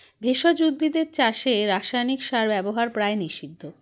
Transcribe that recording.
ভেষজ উদ্ভিদের চাষে রাসায়নিক সার ব্যবহার প্রায় নিষিদ্ধ